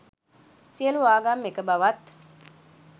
සියලූ ආගම් එක බවත්.